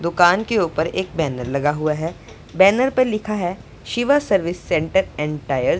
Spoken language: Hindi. दुकान के ऊपर एक बैनर लगा हुआ है बैनर पे लिखा है Shiva service centre and tyre --